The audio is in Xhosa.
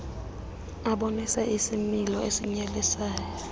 abonise isimilo esinyelisayo